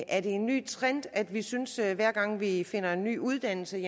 er det en ny trend at vi synes at hver gang vi finder en ny uddannelse